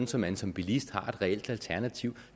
så man som bilist har et reelt alternativ